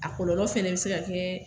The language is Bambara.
A kɔlɔlɔ fana bɛ se ka kɛ